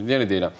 Yenə deyirəm.